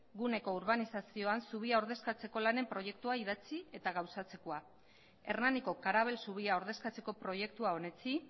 guneko urbanizazioan zubia ordezkatzeko lanen proiektua idatzi eta gauzatzekoa hernaniko karabel zubia ordezkatzeko proiektua onetsi